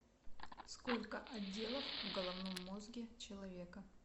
сколько отделов в головном мозге человека